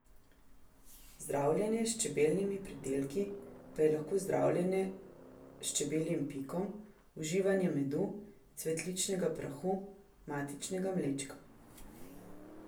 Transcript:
Zdravljenje s čebeljimi pridelki pa je lahko zdravljenje s čebeljim pikom, uživanje medu, cvetnega prahu, matičnega mlečka ...